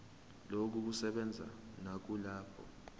lokhu kusebenza nakulabo